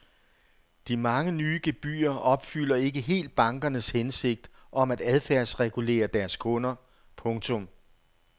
De mange nye gebyrer opfylder ikke helt bankernes hensigt om at adfærdsregulere deres kunder. punktum